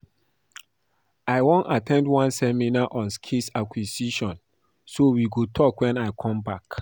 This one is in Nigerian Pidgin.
I wan at ten d one seminar on skills acquisition so we go talk wen I come back